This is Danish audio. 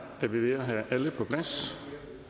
er vi ved at have alle på plads